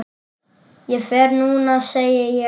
Ég fer núna, segi ég.